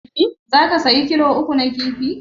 Zaka saya kilo uku na kifi?